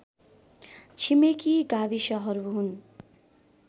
छिमेकी गाविसहरू हुन्